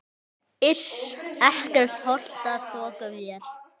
Iss, ekkert holtaþokuvæl.